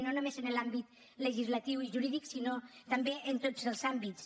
no només en l’àmbit legislatiu i jurídic sinó també en tots els àmbits